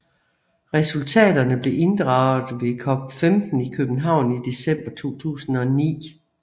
Resultaterne blev inddraget ved COP15 i København i december 2009